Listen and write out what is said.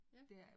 Ja